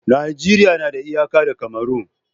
Najeriya na da iyaka da Cameron